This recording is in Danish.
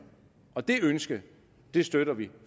og det ønske støtter vi